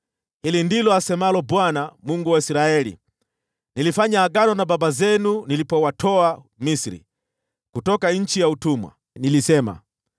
“Hili ndilo asemalo Bwana , Mungu wa Israeli: Nilifanya agano na baba zenu nilipowatoa Misri, kutoka nchi ya utumwa. Nilisema,